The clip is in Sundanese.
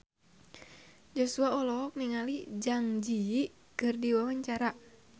Joshua olohok ningali Zang Zi Yi keur diwawancara